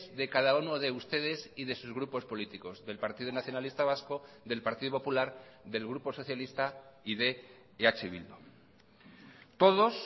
de cada uno de ustedes y de sus grupos políticos del partido nacionalista vasco del partido popular del grupo socialista y de eh bildu todos